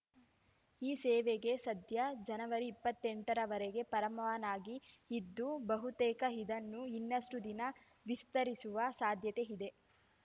ಈ ಸೇವೆಗೆ ಸದ್ಯ ಜನವರಿ ಇಪ್ಪತ್ತೆಂಟರವರೆಗೆ ಪರವಾನಗಿ ಇದ್ದು ಬಹುತೇಕ ಇದನ್ನು ಇನ್ನಷ್ಟುದಿನ ವಿಸ್ತರಿಸುವ ಸಾಧ್ಯತೆ ಇದೆ